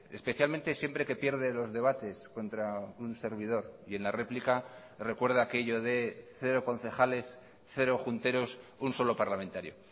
especialmente siempre que pierde los debates contra un servidor y en la réplica recuerda aquello de cero concejales cero junteros un solo parlamentario